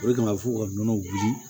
O de kama fo ka nɔnɔ wuli